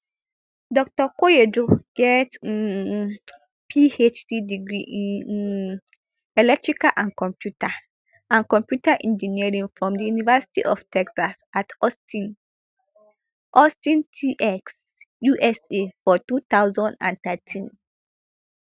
dr koyejo get um phd degree in um electrical and computer and computer engineering from di university of texas at austin austin tx usa for two thousand and thirteen